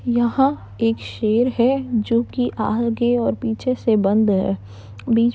यहाँ एक शेर है जो की आ आगे और पीछे से बंद है। बीच में --